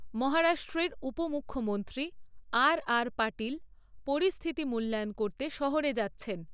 মহারাষ্ট্রের উপ মুখ্যমন্ত্রী, আর আর পাটিল পরিস্থিতি মূল্যায়ন করতে শহরে যাচ্ছেন।